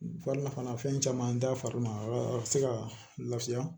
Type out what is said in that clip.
Fari nafan na fɛn caman da fari ma a b'a a bɛ se ka lafiya